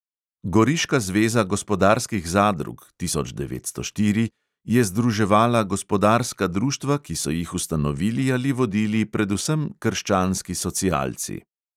Goriška zveza gospodarskih zadrug (tisoč devetsto štiri) je združevala gospodarska društva, ki so jih ustanovili ali vodili predvsem krščanski socialci.